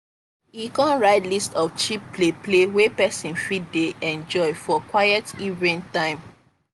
e come write list of cheap play play wey person fit dey enjoy for quiet evening time.